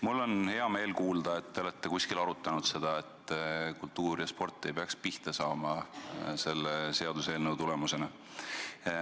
Mul on hea meel kuulda, et te olete kuskil arutanud, et kultuur ja sport ei tohiks selle seadusmuudatuse tulemusena pihta saada.